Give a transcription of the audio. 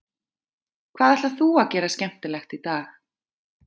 Hvað ætlar þú að gera skemmtilegt í dag?